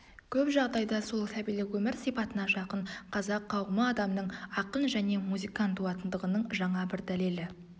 көп жағдайда сол сәбилік өмір сипатына жақын қазақ қауымы адамның ақын және музыкан туатындығының жаңа бір дәлелі